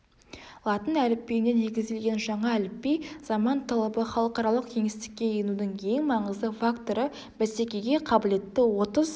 латын әліпбиіне негізделген жаңа әліпби заман талабы халықаралық кеңістікке енудің ең маңызды факторы бәсекеге қабілетті отыз